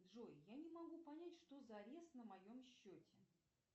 джой я не могу понять что за арест на моем счете